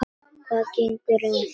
Hvað gengur að?